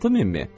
6000-mi?